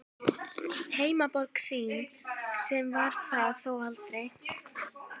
Heimaborg þín, sem var það þó aldrei.